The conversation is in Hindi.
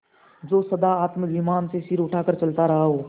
जो सदा आत्माभिमान से सिर उठा कर चलता रहा हो